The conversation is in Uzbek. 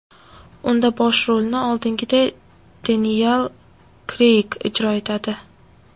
Unda bosh rolni, oldingiday, Deniyel Kreyg ijro etadi.